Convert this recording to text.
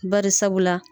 Bari sabula